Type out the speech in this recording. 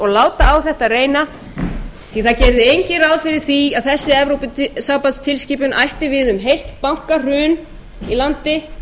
láta á þetta reyna því það gerði enginn ráð fyrir því að þessi evrópusambandstilskipun ætti við um heilt bankahrun í landi